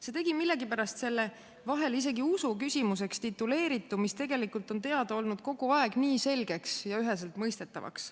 See tegi millegipärast selle vahel isegi usu küsimuseks tituleeritu, mis tegelikult on kogu aeg teada olnud, nii selgeks ja üheselt mõistetavaks.